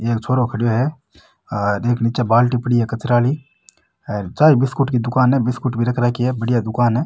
एक छोरो खड़ेयो है और एक नीचे बाल्टी पड़ी है कचरा वाली चाय बिस्कुट की दुकान है बिस्कुट भी रख राखी है बढ़िया दुकान है।